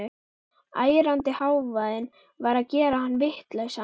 Ærandi hávaðinn var að gera hann vitlausan.